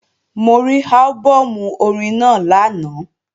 Mo rí álbọ̀mù orin náà lánàá